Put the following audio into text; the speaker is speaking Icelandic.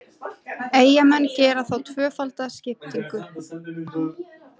Eyjamenn gera þá tvöfalda skiptingu.